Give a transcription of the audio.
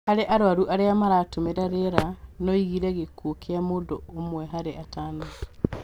Harĩ arwaru arĩa maratũmĩra rĩera, noĩgirie gĩkuũ kĩa mũndũ ũmwe harĩ atano